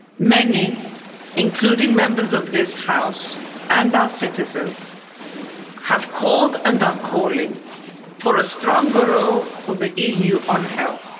Many, including members of this House, and our citizens, have called and are calling for a stronger role for the EU on health.